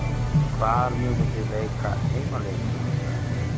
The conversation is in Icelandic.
Hvar munuð þið leika heimaleiki ykkar?